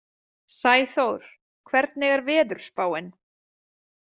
Sæþór, hvernig er veðurspáin?